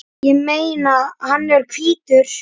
Ég meina, hann er hvítur!